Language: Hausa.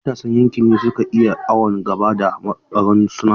Matasan yankin ne suka yi awon gaba da taron nasu.